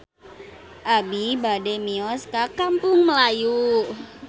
Abi bade mios ka Kampung Melayu